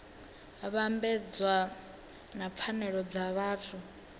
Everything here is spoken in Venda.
vhambedzwa na pfanelo dza vhathu